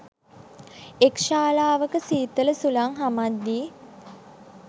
එක් ශාලාවක සීතල සුළං හමද්දී